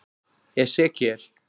Esekíel